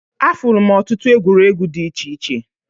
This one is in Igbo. Afụlụ m ọtụtụ egwuregwu dị iche iche.